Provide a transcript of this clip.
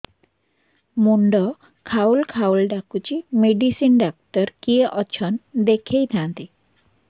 ମୁଣ୍ଡ ଖାଉଲ୍ ଖାଉଲ୍ ଡାକୁଚି ମେଡିସିନ ଡାକ୍ତର କିଏ ଅଛନ୍ ଦେଖେଇ ଥାନ୍ତି